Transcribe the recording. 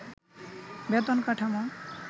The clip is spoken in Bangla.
বেতন কাঠামো